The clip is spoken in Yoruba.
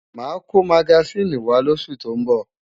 Màá kó magasíìnì wá lóṣù tó ń bọ̀.